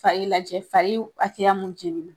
Fa lajɛ fa hakɛya mun jeni na.